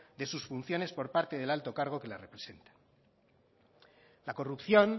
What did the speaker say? de sus funciones por parte del alto cargo que la representa la corrupción